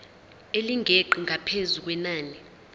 elingeqi ngaphezu kwenani